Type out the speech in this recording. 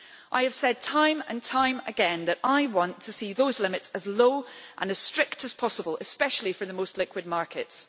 I have said time and time again that I want to see the limits as low and as strict as possible, especially for the most liquid markets.